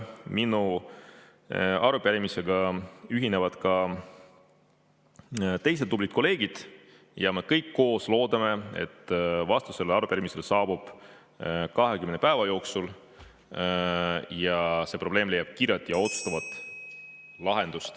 Minu arupärimisega ühinevad ka teised tublid kolleegid ja me kõik koos loodame, et vastus sellele arupärimisele saabub 20 päeva jooksul ja see probleem leiab kiire ja otsustava lahenduse.